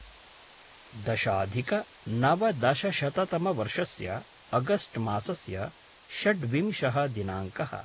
दशाधिकनवदशशततमवर्षस्य August मासस्य षड्विंशः दिनाङ्कः